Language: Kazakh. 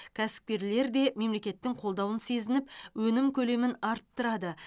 кәсіпкерлер де мемлекеттің қолдауын сезініп өнім көлемін арттырады